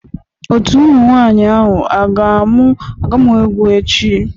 Otu ụmụ nwanyị ahụ a ga-amụ egwu echi?